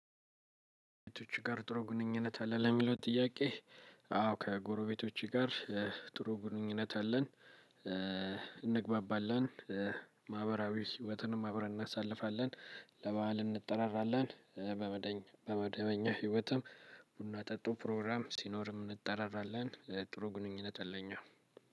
ጎሬቤቶቹችህ ጋር ጥሩ ግንኙነት አለህ? ለሚለው ጥያቄ አዎ ከጎረቤቶቹ ጋር ጥሩ ግንኙነት አለን። እንግባባለን። ማህበራዊ ህይወትንም አብረን እናሳልፋለን ለበአል እንጠራራለን። በመደበኛ ህይወትም ቡና ጠጡ ፕሮግራምም ሲኖርም እንጠራራለን። ጥሩ ግንኙነት አለን።